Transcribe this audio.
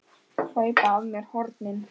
Hlaupa af mér hornin.